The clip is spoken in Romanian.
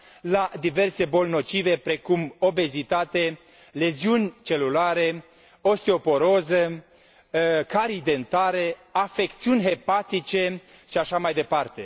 la diverse boli nocive, precum obezitate, leziuni celulare, osteoporoză, carii dentare, afecțiuni hepatice și așa mai departe.